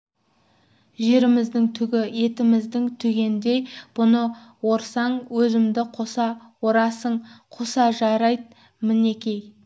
жеріміздің түгі етіміздің түгіндей бұны орсаң өзімді қоса орасың қоса жайрат мінекей